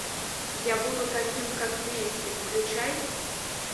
я буду таким как месси включай